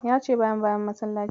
Ya ce bayan bayan masallaci.